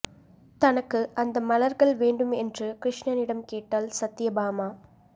தனக்கு அந்த மலர்கள் வேண்டும் என்று கிருஷ்ணனிடம் கேட்டாள் சத்யபாமா